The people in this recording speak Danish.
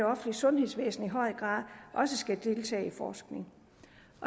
offentlige sundhedsvæsen skal i høj grad også deltage i forskning